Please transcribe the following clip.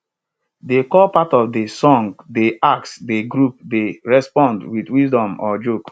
de call part of de song dey ask de group dey respond wit wisdom or joke